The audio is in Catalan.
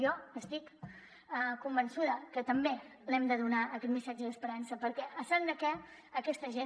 jo estic convençuda que també l’hem de donar aquest missatge d’esperança perquè a sant de què aquesta gent